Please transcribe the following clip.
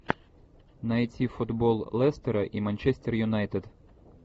найти футбол лестера и манчестер юнайтед